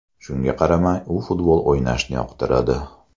Shunga qaramay, u futbol o‘ynashni yoqtiradi.